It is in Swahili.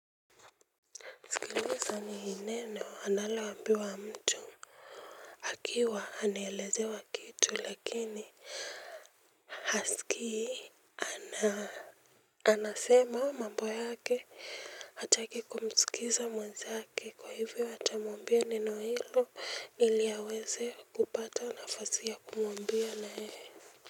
Sikiliza ni neno analo ambiwa mtu akiwa anaelezewa kitu lakini Hasikii. Na anasema mambo yake hataki kumsikiza mwenzake kwahivyo atamwambia neno neno hilo ili aweze kupata nafasi ya kumwambia nayeye.